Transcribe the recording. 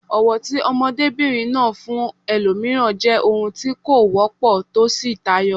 Ọ̀wọ̀ tí ọmọdébìnrin náà ní fún ẹlòmíràn jẹ́ ohun tí kò wọ́pọ̀ tó sì tayọ.